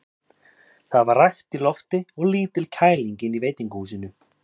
Það var rakt í lofti og lítil kæling inni í veitingahúsinu.